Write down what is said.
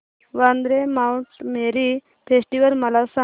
Vandre mount Mary festival मला सांग